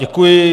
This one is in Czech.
Děkuji.